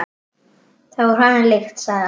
Það var honum líkt, sagði afi.